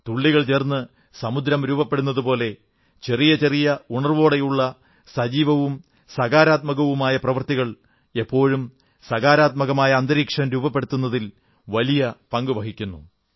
തുള്ളികൾ ചേർന്ന് സമുദ്രം രൂപപ്പെടുന്നതുപോലെ ചെറിയ ചെറിയ ഉണർവ്വോടെയുള്ള സജീവവും സകാരാത്മകവുമായ പ്രവൃത്തികൾ എപ്പോഴും സകാരാത്മകമായ അന്തരീക്ഷം രൂപപ്പെടുത്തുന്നതിൽ വലിയ പങ്കു വഹിക്കുന്നു